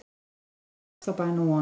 þá einu ósk, þá bæn og von